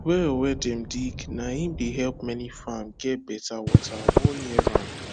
well wen dem dig na im dey help many farm get betta wata all year round